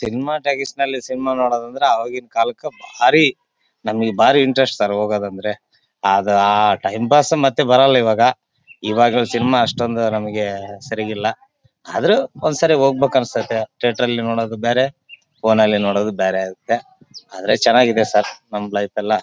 Cinema talkies ಅಲ್ಲಿ cinema ನೋಡೋದು ಅಂದ್ರೆ ಆವಾಗಿನ ಕಾಲಕ್ಕ ಬಾರಿ ನಮ್ಮಗೆ ಬಾರಿ ಇಂಟರೆಸ್ಟ್ ಸರ್ ಹೋಗೋದಂದ್ರೆ ಅದ್ ಆ ಟೈಮ್ ಪಾಸ್ ಮತ್ತೆ ಬರಲ್ಲಾ ಇವಾಗ ಈವಾಗಲ್ಲು ಸಿನಿಮಾ ಅಷ್ಟೊಂದು ನಮ್ಮಗೆ ಸರಿಗಿಲ್ಲಾ ಆದ್ರೂ ಒಂದ್ ಸರಿ ಹೋಗಬೇಕಂಸ್ಟೈತ್ತೆ ಥೀಯೇಟರ್ ನೋಡೋದು ಬೇರೆ ಫೋನ್ ನಲ್ಲಿ ನೋಡೋದು ಬೇರೆ ಆಗುತ್ತೆ ಆದ್ರೆ ಚನ್ನಾಗಿದೆ ಸರ್ ನಮ್ಮ ಲೈಫ್ ಎಲ್ಲಾ .